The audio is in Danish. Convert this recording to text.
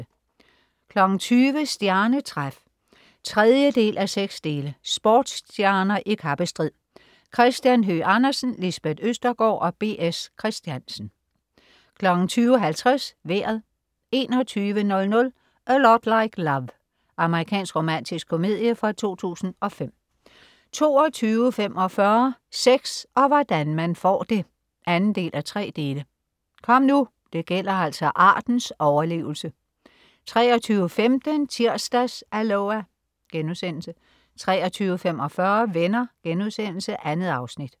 20.00 Stjernetræf 3:6. Sportsstjerner i kappestrid. Christian Høgh Andersen, Lisbeth Østergaard og B. S. Christiansen 20.50 Vejret 21.00 A Lot Like Love. Amerikansk romantisk komedie fra 2005 22.45 Sex og hvordan man får det 2:3. Kom nu, det gælder altså artens overlevelse! 23.15 Tirsdags-Aloha!* 23.45 Venner.* 2 afsnit